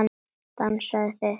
Dansið þið.